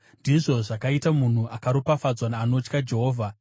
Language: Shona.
Ndizvo zvakaita munhu akaropafadzwa, anotya Jehovha.